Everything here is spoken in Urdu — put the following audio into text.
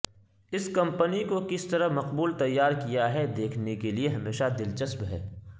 اس کمپنی کو کس طرح مقبول تیار کیا ہے دیکھنے کے لئے ہمیشہ دلچسپ ہے